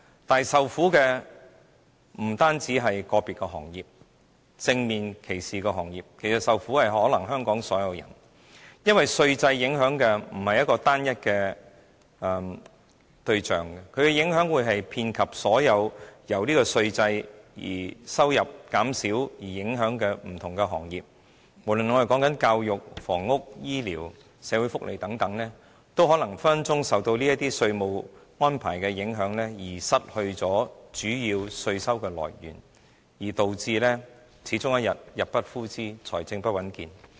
但是，受苦的不僅是個別受到正面歧視的行業，而是香港所有人，因為稅制影響的不是一個單一對象，而是遍及所有因為稅收減少而受影響的各項服務，不論是教育、房屋、醫療、社會福利等，也隨時因為這些稅務安排而失去主要的稅收來源，導致終有一天入不敷支，財政不穩健。